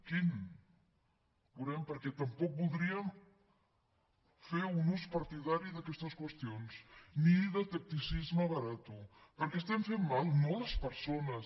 quin ja ho veurem perquè tampoc voldríem fer un ús partidari d’aquestes qüestions ni de tacticisme barat perquè estaríem fent mal no a les persones